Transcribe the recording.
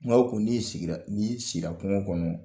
ko ni sigira, n'i sira kungo kɔnɔ